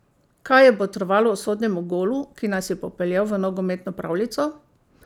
Kaj je botrovalo usodnemu golu, ki nas je popeljal v nogometno pravljico?